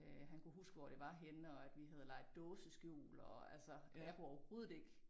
Øh han kunne huske hvor det var henne og at vi havde leget dåseskjul og altså og jeg kunne overhovedet ikke